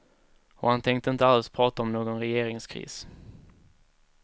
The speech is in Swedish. Och han tänkte inte alls prata om någon regeringskris.